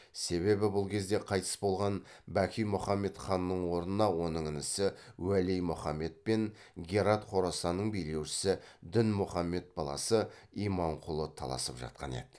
себебі бұл кезде қайтыс болған бәки мұхаммед ханның орнына оның інісі уәли мұхаммед пен герат хорасанның билеушісі дінмұхаммед баласы иманқұлы таласып жатқан еді